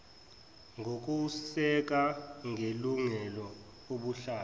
ngokuseka ngelungelo ubuhlanga